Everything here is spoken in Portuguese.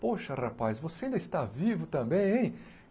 Poxa, rapaz, você ainda está vivo também, hein?